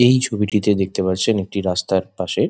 এই ছবিটিতে দেখতে পাচ্ছেন একটি রাস্তার পাশে--